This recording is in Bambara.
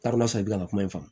N'a kun sɔrɔ i bɛ ka kuma in fɔ